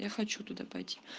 я хочу туда пойти